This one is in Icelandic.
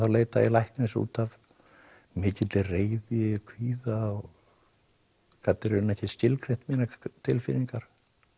leita ég læknis út af mikilli reiði kvíða og gat raunar ekki skilgreint mínar tilfinningar